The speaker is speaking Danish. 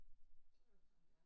Så er det jo sådan det er